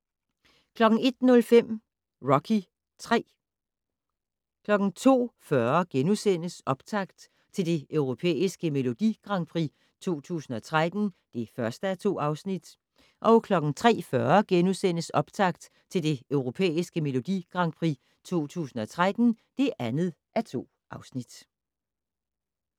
01:05: Rocky III 02:40: Optakt til det Europæiske Melodi Grand Prix 2013 (1:2)* 03:40: Optakt til det Europæiske Melodi Grand Prix 2013 (2:2)*